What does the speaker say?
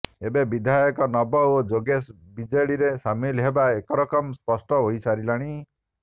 ଏବେ ବିଧାୟକ ନବ ଓ ଯୋଗେଶ ବିଜେଡିରେ ସାମିଲ ହେବା ଏକରକମ ସ୍ପଷ୍ଟ ହୋଇସାରିଲାଣି